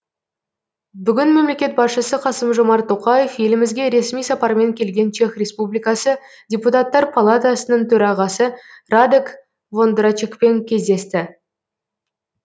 бүгін мемлекет басшысы қасым жомарт тоқаев елімізге ресми сапармен келген чех республикасы депутаттар палатасының төрағасы радек вондрачекпен кездесті